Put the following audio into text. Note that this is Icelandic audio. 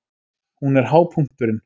Hún er hápunkturinn.